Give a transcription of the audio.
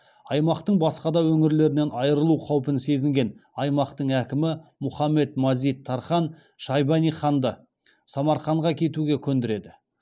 аймақтың басқа да өңірлерінен айырылу қаупін сезген аймақтың әкімі мұхаммед мазид тархан шайбани ханды самарқанға кетуге көндіреді